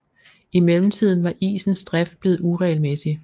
I mellemtiden var isens drift blevet uregelmæssig